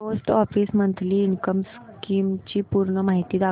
post office monthly income scheme ची पूर्ण माहिती दाखव